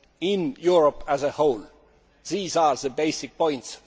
in Europe as a whole. These are the basic points.